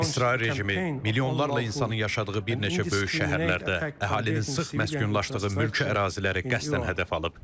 İsrail rejimi milyonlarla insanın yaşadığı bir neçə böyük şəhərlərdə əhalinin sıx məskunlaşdığı mülki əraziləri qəsdən hədəf alıb.